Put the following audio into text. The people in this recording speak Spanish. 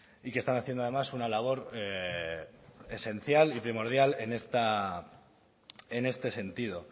y que están haciendo además una labora esencial y primordial en este sentido